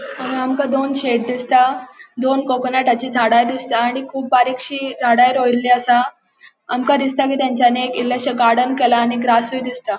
हांगा आमका दोन शेड दिसता दोन कोकोनटची झाड़ा दिसता आणि कुब बारीकशी झाड़ा रोयली असा आमका दिसता कि ताच्यांनी एक इलेशे गार्डन केला आणि ग्रासूय दिसता.